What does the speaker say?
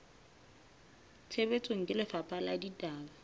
tshebetsong ke lefapha la ditaba